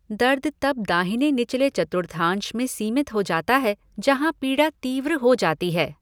दर्द तब दाहिने निचले चतुर्थांश में सीमित हो जाता है जहाँ पीड़ा तीव्र हो जाती है।